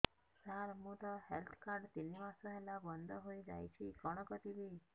ସାର ମୋର health card ତିନି ମାସ ହେଲା ବନ୍ଦ ହେଇଯାଇଛି କଣ କରିବି